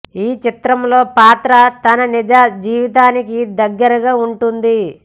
ఈ చితంలో పాత్ర తన నిజ జీవితానికి దగ్గరగా ఉంటుంది